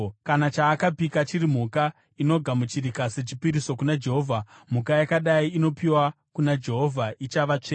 “ ‘Kana chaakapika chiri mhuka inogamuchirika sechipiriso kuna Jehovha, mhuka yakadai inopiwa kuna Jehovha ichava tsvene.